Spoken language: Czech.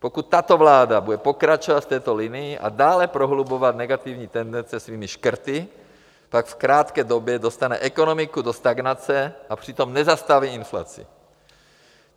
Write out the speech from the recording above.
Pokud tato vláda bude pokračovat v této linii a dále prohlubovat negativní tendence svými škrty, tak v krátké době dostane ekonomiku do stagnace a přitom nezastaví inflaci.